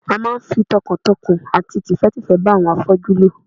A máa ń fi tọkàntọkàn àti tìfẹ́tìfẹ́ bá àwọn afọ́jú lò